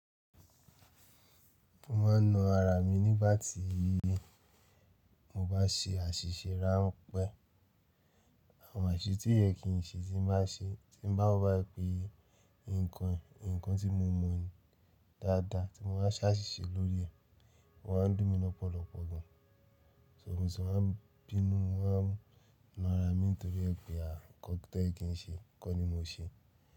Mo máa ń na ara mi nígbà tí mo bá ṣe àṣìṣé ránpẹ́. Àwọn àṣìṣé tí ò yẹ kí n ṣe tí n bá ṣeé tí mo bá wò báyìí pé nǹkan yìí, nǹkan tí mo mọ̀ ni dáadáa tí mo bá ṣàṣìṣe lórí ẹ̀, o máa ń dúnní lọ́pọ̀lọpọ̀ gan-an. So mo ṣe máa ń bínú mo máa ń na ara mi nítorí ẹ̀ pé aà nǹkan tó yẹ kí n ṣe, kọ́ ni mo ṣe.